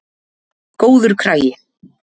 Góður kragi.